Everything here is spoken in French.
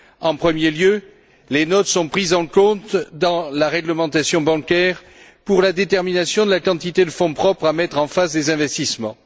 En premier lieu, les notes sont prises en compte dans la réglementation bancaire pour la détermination de la quantité de fonds propres à mettre en face des investissements.